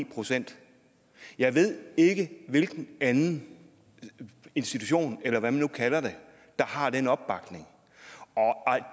procent jeg ved ikke hvilken anden institution eller hvad man nu kalder det der har den opbakning og